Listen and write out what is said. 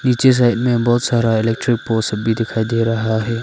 पीछे साइड में बहोत सारा इलेक्ट्रिक पोस भी दिखाई दे रहा है।